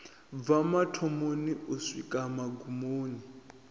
bva mathomoni u swika magumoni